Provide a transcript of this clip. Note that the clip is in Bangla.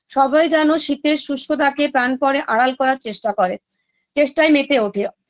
সবাই যেন শিতের শুষ্কতাকে প্রাণপণে আড়াল করার চেষ্টা করে চেষ্টায় মেতে ওঠে